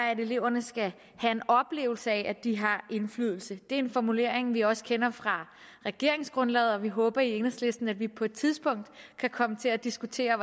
at eleverne skal have en oplevelse af at de har indflydelse det er en formulering vi også kender fra regeringsgrundlaget og vi håber i enhedslisten at vi på et tidspunkt kan komme til at diskutere